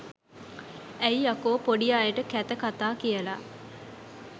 ඇයි යකෝ පොඩි අයට කැත කතා කියල